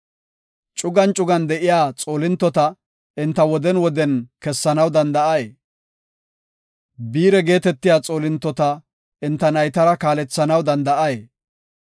Cugan cugan de7iya xoolintota enta woden woden kessanaw danda7ay? Biire geetetiya xoolintota enta naytara kaalethanaw danda7ay?